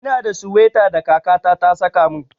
Ina da suwaita da kaka ta ta saka min.